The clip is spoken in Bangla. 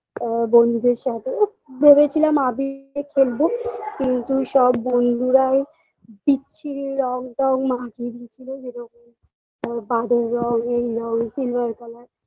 আ বন্ধুদের সাথে ভেবেছিলাম আবি নিয়ে খেলব কিন্তু সব বন্ধুরা ওই বিচ্ছিরি রং টং মাখিয়ে দিয়েছিল যেরকম বাদুর রং এই রং silver colour